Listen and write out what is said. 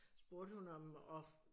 Spurgte hun om og